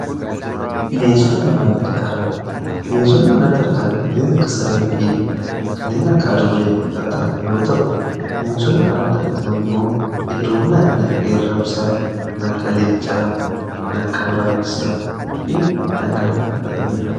Bineensota manaa fi ala, bineensonni manatti argama kaneen akka saree fi kaneen akka adurre kan ta'an yeroo ta'u bineensonni alatti argaman immoo heddumminaan kan akka qeerramsaa, kan akka leencaa kan akka araabessaa fi kan kana fakkaataniidha.